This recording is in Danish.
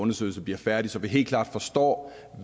undersøgelse bliver færdig så vi helt klart forstår